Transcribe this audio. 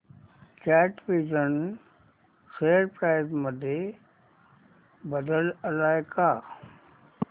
कॅटविजन share price मध्ये बदल आलाय का